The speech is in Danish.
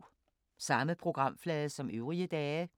Samme programflade som øvrige dage